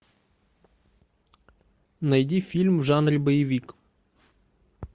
найди фильм в жанре боевик